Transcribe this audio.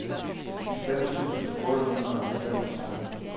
halvfems tusind otte hundrede og femogtredive